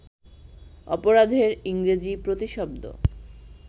অপরাধের ইংরেজি প্রতিশব্দ